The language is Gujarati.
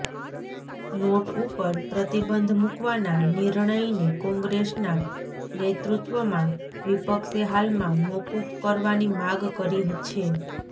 નોટ ઉપર પ્રતિબંધ મુકવાના નિર્ણયને કોગ્રેસના નેત્ાૃત્વમાં વિપક્ષે હાલમાં મોકૂફ કરવાની માગ કરી છે